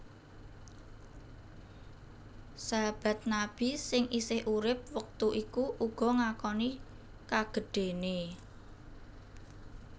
Sahabat Nabi sing isih urip wektu iku uga ngakoni kagedhéné